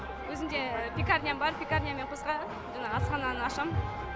өзімде пекарням бар пекарнямен қоса жаңағы асхананы ашам